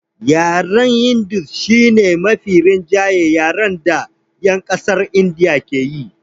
Yaren hindu shi ne mafi rinjayen yaren da 'yan ƙasar Indiya ke yi